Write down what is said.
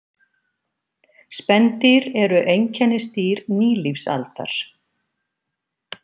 Spendýr eru einkennisdýr nýlífsaldar.